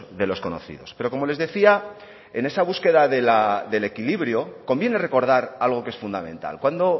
de los conocidos pero como les decía en esa búsqueda del equilibrio conviene recordar algo que es fundamental cuando